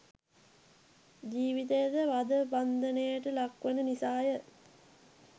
ජීවිතයද වධ බන්ධනයට ලක්වන නිසාය.